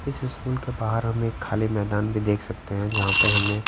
इस स्कूल के बाहर हम एक खाली मैदान भी देख सकते हैं जहां पे हमें--